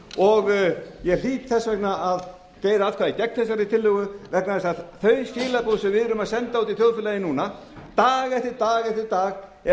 og ég hlýt þess vegna að greiða atkvæði gegn þessari tillögu vegna þess að þau skilaboð sem við erum að senda út í þjóðfélagið núna dag eftir dag eftir dag er